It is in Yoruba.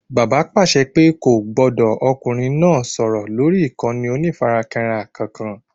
Bàbá pàṣẹ pé kò gbọdọ̀ ọkùnrin náà sọ̀rọ̀ lórí ìkànnì onífarakínra kankan